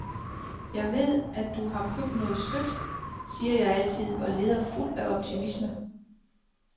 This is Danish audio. Jeg ved, at du har købt noget sødt, siger jeg altid og leder fuld af optimisme.